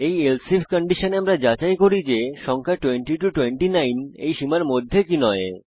এই else if কন্ডিশনে আমরা যাচাই করি যে সংখ্যা 20 29 এই সীমার মধ্যে কি নয়